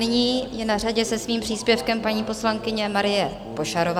Nyní je na řadě se svým příspěvkem paní poslankyně Marie Pošarová.